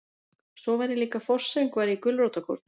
Og svo var ég líka forsöngvari í gulrótarkórnum.